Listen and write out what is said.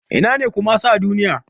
Ina ne Kumasi a Duniya?